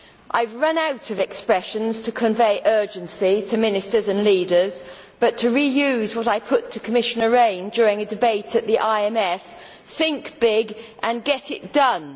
I have run out of expressions to convey urgency to ministers and leaders, but to reuse what I put to Commissioner Rehn during a debate at the IMF think big, and get it done'.